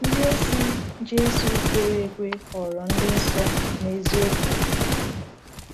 Ndịozi Jésù kwere ekwe ghọrọ ndị nsọ n’eziokwu.